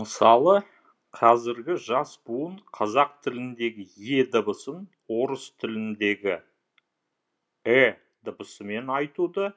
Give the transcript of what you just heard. мысалы қазіргі жас буын қазақ тіліндегі е дыбысын орыс тіліндегі э дыбысымен айтуды